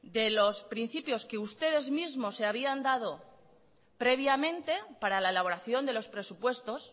de los principios que ustedes mismo se habían dado previamente para la elaboración de los presupuestos